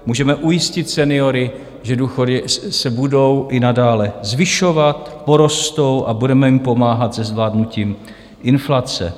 Můžeme ujistit seniory, že důchody se budou i nadále zvyšovat, porostou a budeme jim pomáhat se zvládnutím inflace.